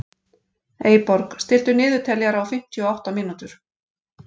Eyborg, stilltu niðurteljara á fimmtíu og átta mínútur.